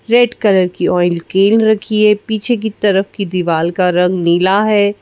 Red colour की oil रखी है पीछे की तरफ की दीवाल का रंग नीला है।